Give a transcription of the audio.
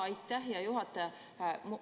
Aitäh, hea juhataja!